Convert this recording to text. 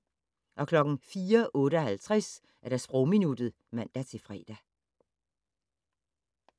04:58: Sprogminuttet (man-fre)